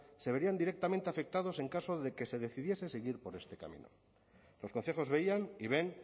se verían directamente afectados en caso de que se decidiese seguir por este camino los concejos veían y ven